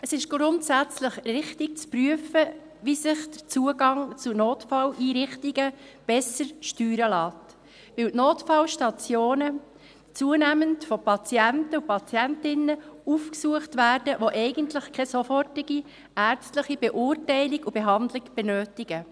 Es ist grundsätzlich richtig, zu prüfen, wie sich der Zugang zu Notfalleinrichtungen besser steuern lässt, weil die Notfallstationen zunehmend von Patienten und Patientinnen aufgesucht werden, welche eigentlich keine sofortige ärztliche Beurteilung und Behandlung benötigen.